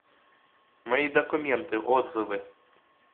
мои документы отзывы